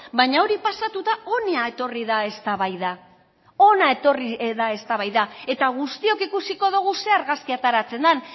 baina hori pasatuta ona etorri da eztabaida ona etorri da eztabaida eta guztiok ikusiko dugu zer argazki ateratzen den